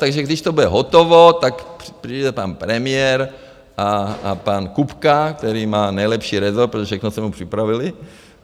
Takže když to bude hotovo, tak přijde pan premiér a pan Kupka, který má nejlepší resort, protože všechno jsme mu připravili.